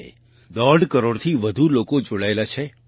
5 દોઢ કરોડથી વધુ લોકો જોડાયેલા છે